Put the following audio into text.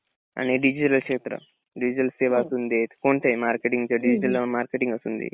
आणि क्षेत्र डिझेल सेवा असुंदे कोणतेही मार्केटिंग असुंदे